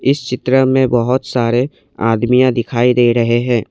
इस चित्र में बहुत सारे आदमियां दिखाई दे रहे हैं।